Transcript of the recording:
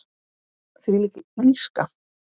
Þvílík illska.